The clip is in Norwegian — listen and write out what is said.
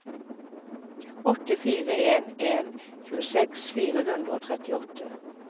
åtte fire en en tjueseks fire hundre og trettiåtte